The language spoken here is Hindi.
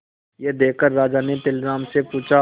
यह देखकर राजा ने तेनालीराम से पूछा